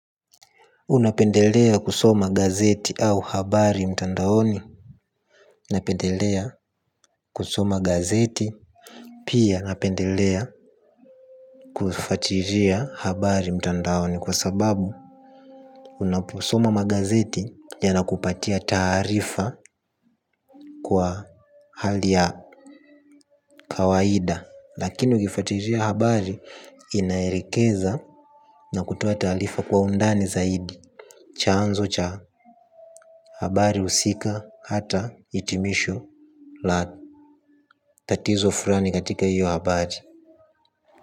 Unapendelea kusoma gazeti au habari mtandaoni napendelea kusoma gazeti. Pia napendelea kufuatilia habari mtandaoni. Kwa sababu unaposoma magazeti yanakupatia taarifa kwa hali ya kawaida lakini ukifuatilia habari inaelekeza na kutoa taarifa kwa undani zaidi. Chanzo cha habari husika hata hitimisho la tatizo fulani katika hiyo habari.